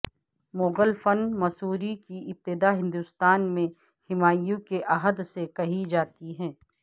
مغل فن مصوری کی ابتدا ہندوستان میں ہمایوں کے عہد سے کہی جاتی ہے